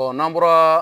n'an bɔra